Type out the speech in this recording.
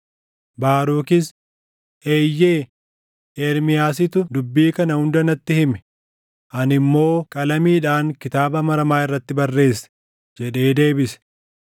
Baarukis, “Eeyyee, Ermiyaasitu dubbii kana hunda natti hime; ani immoo qalamiidhaan kitaaba maramaa irratti barreesse” jedhee deebise.